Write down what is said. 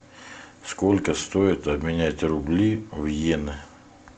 сколько стоит обменять рубли в иены